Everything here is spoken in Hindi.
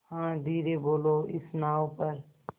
हाँ धीरे बोलो इस नाव पर